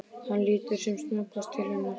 Hann lítur sem snöggvast til hennar.